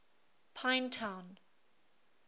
pinetown